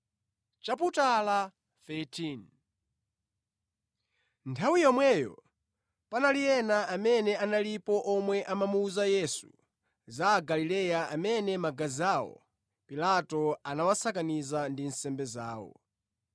Nthawi yomweyo panali ena amene analipo omwe amamuwuza Yesu za Agalileya amene magazi awo Pilato anawasakaniza ndi nsembe zawo.